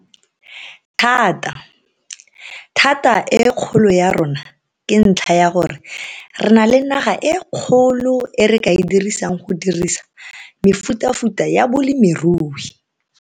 Thata. Thata e kgolo ya rona ke ntlha ya gore re na le naga e kgolo e re ka e dirisang go dirisa mefutafuta ya bolemirui.